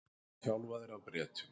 Voru þjálfaðir af Bretum